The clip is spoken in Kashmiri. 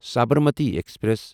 سبرمتی ایکسپریس